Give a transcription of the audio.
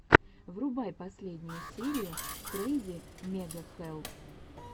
врубай последнюю серию крэйзи мега хэлл